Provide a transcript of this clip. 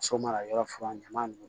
So mana yɔrɔ fura ɲama nunnu